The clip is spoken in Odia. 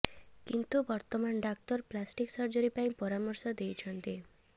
କିନ୍ତୁ ବର୍ତ୍ତମାନ ଡାକ୍ତର ପ୍ଲାଷ୍ଟିକ ସର୍ଜରୀ ପାଇଁ ପରାମର୍ଶ ଦେଇଛନ୍ତି